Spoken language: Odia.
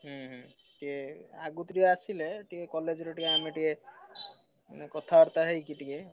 ହୁଁ ହୁଁ ଟିକେ ଆଗତରିଆ ଆସିଲେ ଟିକେ college ରେ ଆମେ ଟିକେ ଉଁ କଥାବାର୍ତ୍ତା ହେଇକି ଟିକେ,